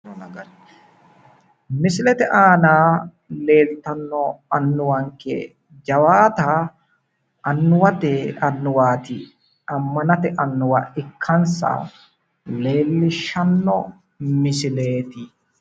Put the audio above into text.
misilete aana leeltanno annuwanke jawaata annuwate annuwaati ammanate annuwa ikkansa leelishshanno misileeti